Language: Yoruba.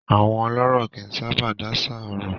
Àwọn ọlọ́rọ̀ kì í sábà dáṣà ọ̀rọ̀.